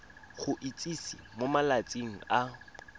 go itsise mo malatsing a